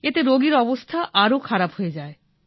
এতে রোগীর অবস্থা আরো খারাপ হয়ে যায়